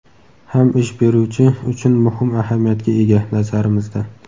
ham ish beruvchi uchun muhim ahamiyatga ega, nazarimizda.